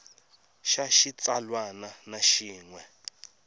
xa xitsalwana na xin we